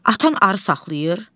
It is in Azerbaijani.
Atan arı saxlayır?